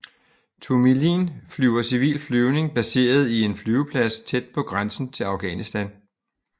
Tomilin flyver civil flyvning baseret i en flyveplads tæt på grænsen til Afghanistan